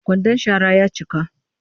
Kwandan shara ya cika